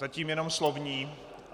Zatím jenom slovní.